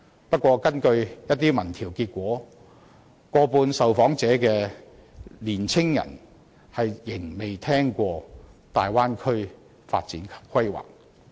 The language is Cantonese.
不過，根據一些民調結果，過半受訪的香港年青人仍未曾聽聞大灣區發展及規劃。